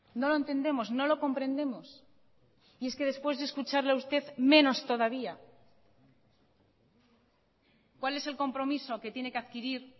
no lo entendemos no lo comprendemos y es que después de escucharle a usted menos todavía cuál es el compromiso que tiene que adquirir